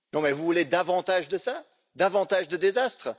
Vous voulez davantage de cela, davantage de désastre?